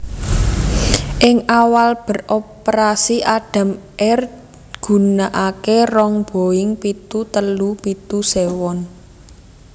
Ing awal beroperasi Adam Air gunakaké rong Boeing pitu telu pitu séwan